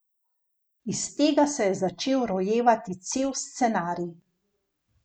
Iz tega se je začel rojevati cel scenarij.